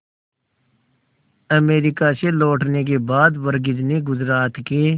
America से लौटने के बाद वर्गीज ने गुजरात के